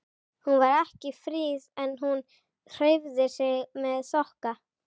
Hún var ekki fríð en hún hreyfði sig með þokka.